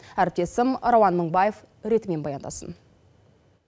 әріптесім рауан мыңбаев ретімен баяндасын